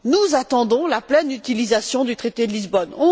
Nous attendons la pleine utilisation du traité de Lisbonne.